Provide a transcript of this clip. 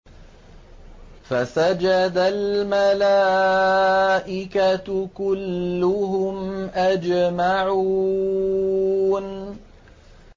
فَسَجَدَ الْمَلَائِكَةُ كُلُّهُمْ أَجْمَعُونَ